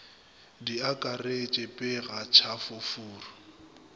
di akaretše pega tšhafo furu